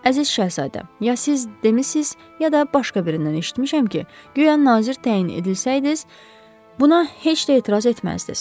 Əziz Şəhzadə, ya siz demisiniz, ya da başqa birindən eşitmişəm ki, guya nazir təyin edilsəydiniz, buna heç də etiraz etməzdiniz.